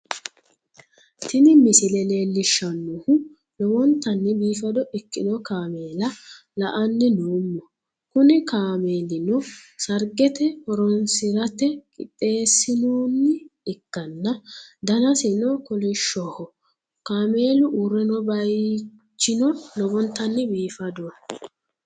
Tini misile leellishshannohu lowontanni biifado ikkino kaameela la"anni noommo, kuni kaamelino sargete horonsi'rate qixxeessinoonni ikkanna, danasino kolishshoho, kaameelu uurre no bayichino lowontanni biifadoho.